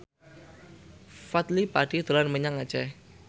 Fadly Padi dolan menyang Aceh